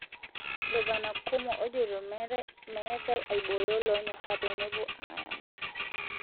Gavana Cuomo ojoito metae aiboyo lonyora pemepuo ayama.